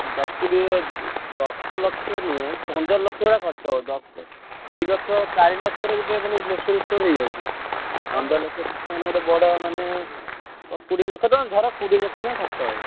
ଦଶ କୋଡିଏ ଦଶ ଲକ୍ଷ ନୁହେଁ ପନ୍ଦର ଲକ୍ଷ ଭଳିଆ ଖର୍ଚ ହବ। ଦଶ ଦି ଲକ୍ଷ ଚାରି ଲକ୍ଷରେ ଗୋଟେ ମାନେ grocery store ହେଇଯାଉଛି। ଆଉ ପନ୍ଦର ଲକ୍ଷ ଟିକେ ମାନେ ବଡ ମାନେ କୋଡିଏ ଲକ୍ଷ ଟଙ୍କା ଧର କୋଡିଏ ଲକ୍ଷ ଟଙ୍କା ଖର୍ଚ ହବ।